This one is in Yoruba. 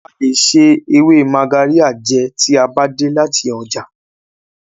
A lè se ewe Magarya jẹ tí a bá dé láti ọjà.